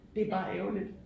Det er bare ærgerligt